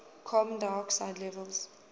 carbon dioxide levels